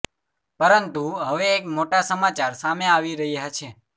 પરંતુ હવે એક મોટા સમાચાર સામે આવી રહ્યા છે